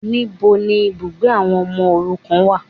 Níbo ni ibùgbé àwọn ọmọ òrukàn wà